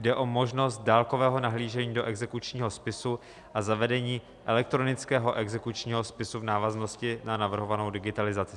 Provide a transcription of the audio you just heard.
Jde o možnost dálkového nahlížení do exekučního spisu a zavedení elektronického exekučního spisu v návaznosti na navrhovanou digitalizaci.